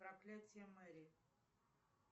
проклятие мэри